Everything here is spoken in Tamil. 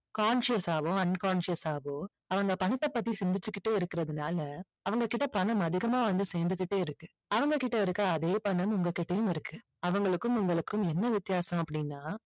conscious ஆவோ unconscious ஆவோ அவங்க பணத்தை பத்தி சிந்திச்சிட்டுகிட்டே இருக்குறதனால அவங்ககிட்ட பணம் அதிகமா வந்து சேர்ந்துகிட்டே இருக்கு அவங்ககிட்ட இருக்க அதே பணம் உங்ககிட்டையும் இருக்கு அவங்களுக்கும் உங்களுக்கும் என்ன வித்தியாசம் அப்படின்னா